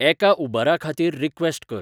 एका उबराखातीर रीक्वेस्ट कर